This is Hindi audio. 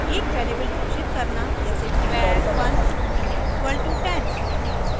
एक वेरिएबल घोषित करना जैसे var 1 = 10